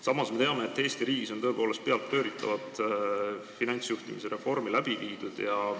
Samas me teame, et Eesti riigis on tõepoolest peadpööritavat finantsjuhtimise reformi läbi viidud.